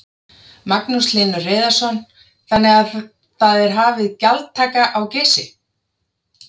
Magnús Hlynur Hreiðarsson: Þannig að það er hafin gjaldtaka á Geysi?